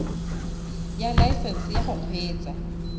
ya laesesnse ya go kgweetsa